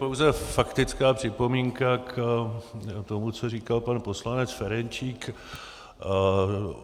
Pouze faktická připomínka k tomu, co říkal pan poslanec Ferjenčík.